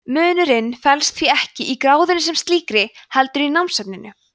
munurinn felst því ekki í gráðunni sem slíkri heldur í námsefninu